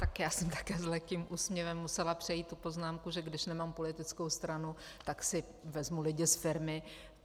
Tak já jsem také s lehkým úsměvem musela přejít tu poznámku, že když nemám politickou stranu, tak si vezmu lidi z firmy.